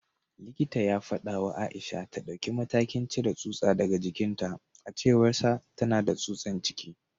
Likitan ya fada wa Aisha ta dauki matakin cire tsutsa daga jikinta; a cewarsa, tana da tsutsan ciki